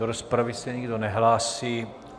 Do rozpravy se nikdo nehlásí.